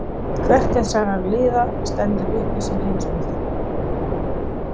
Hvert þessara liða stendur uppi sem heimsmeistari?